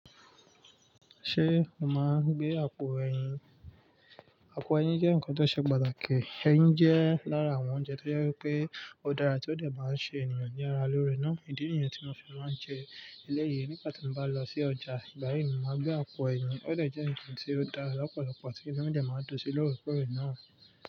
Ṣé o máa ń gbé àpò ẹyin? Àpò ẹyin jẹ́ nǹkan tó ṣe pàtàkì. Ẹyin jẹ́ lára àwọn oúnjẹ tó jẹ́ pé ó dára tí ó dà máa ń ṣe ènìyàn ní ara lórí náà. Ìdí niyẹn tí mo fi máa ń jẹ eléyìí. Nígbà tí mo bá lọ sí ọjà, ìgbà yìí ni màá gbé àpò ẹyin. Ó de jẹ́ ǹkan tí ó dára lọ́pọ̀lọpọ̀ tí inu mi de máa ń dun sí lórí kóre náà.